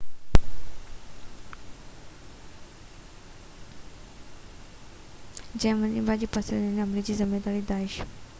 police چيو تہ اهي حملي جي ذميواري داعش isil جي مبينا شدت پسندن تي هڻن ٿا